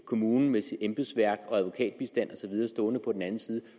kommunen med sit embedsværk og advokatbistand og så videre stående på den anden side